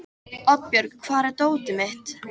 Oddbjörg, hvar er dótið mitt?